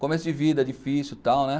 Começo de vida difícil e tal, né?